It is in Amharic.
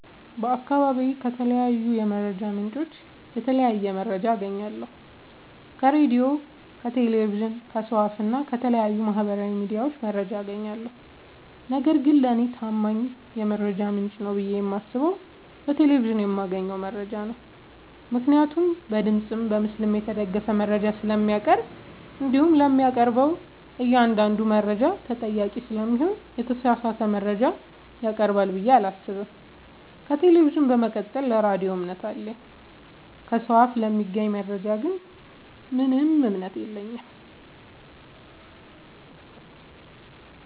በአካባቢዬ ከተለያዩ የመረጃ ምንጮች የተለያየ መረጃ አገኛለሁ ከራዲዮ ከቴሌቪዥን ከሰው አፋ እና ከተለያዩ ማህበራዊ ሚዲያዎች መረጃ አጋኛለሁ። ነገርግን ለኔ ታማኝ የመረጃ ምንጭ ነው ብዬ የማስበው በቴሌቪዥን የማገኘውን መረጃ ነው ምክንያቱም በድምፅም በምስልም የተደገፈ መረጃ ስለሚያቀርብ። እንዲሁም ለሚያቀርበው እኛአንዳዱ መረጃ ተጠያቂ ስለሚሆን የተሳሳተ መረጃ ያቀርባል ብዬ አላሰብም። ከቴሌቪዥን በመቀጠል ለራዲዮ እምነት አለኝ። ከሰው አፍ ለሚገኝ መረጃ ግን ምንም እምነት የለኝም።